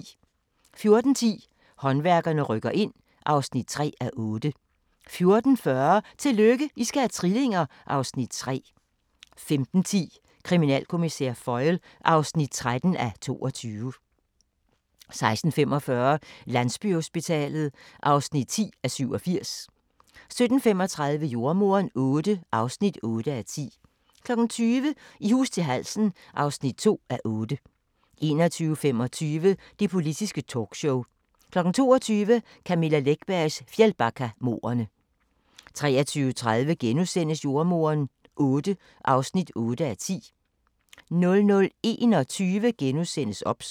14:10: Håndværkerne rykker ind (3:8) 14:40: Tillykke, I skal have trillinger! (Afs. 3) 15:10: Kriminalkommissær Foyle (13:22) 16:45: Landsbyhospitalet (10:87) 17:35: Jordemoderen VIII (8:10) 20:00: I hus til halsen (2:8) 21:25: Det Politiske Talkshow 22:00: Camilla Läckbergs Fjällbackamordene 23:30: Jordemoderen VIII (8:10)* 00:21: OBS *